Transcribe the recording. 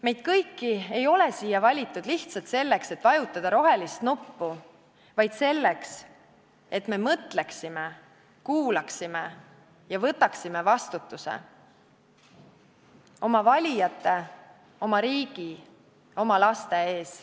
Meid kõiki ei ole siia valitud lihtsalt selleks, et vajutada rohelist nuppu, vaid selleks, et me mõtleksime, kuulaksime ja võtaksime vastutuse oma valijate, oma riigi, oma laste ees.